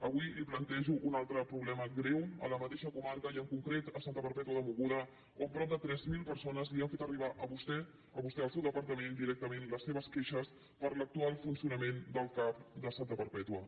avui li plantejo un altre problema greu a la mateixa comarca i en concret a santa perpètua de mogoda on prop de tres mil persones li han fet arribar a vostè al seu departament directament les seves queixes per l’actual funcionament del cap de santa perpètua